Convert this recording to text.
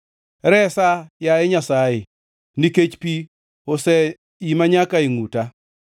Resa, yaye Nyasaye, nikech pi oseima nyaka e ngʼuta.